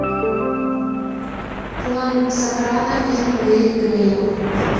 клан сопрано фильм гэри грея